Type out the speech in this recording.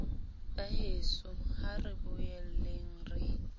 baheso ha re boeleng re